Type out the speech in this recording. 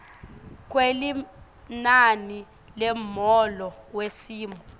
kwelinani lemholo wesimo